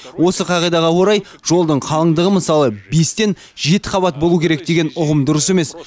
осы қағидаға орай жолдың қалыңдығы мысалы бестен жеті қабат болу керек деген ұғым дұрыс емес